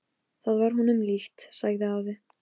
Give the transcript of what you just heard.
Síðan tók hvert atriðið við af öðru.